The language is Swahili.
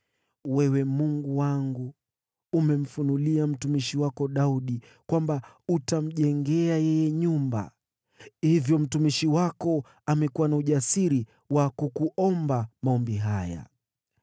“Wewe, Mungu wangu, umemfunulia mtumishi wako Daudi kwamba utamjengea yeye nyumba. Hivyo mtumishi wako amekuwa na ujasiri wa kukuomba maombi haya.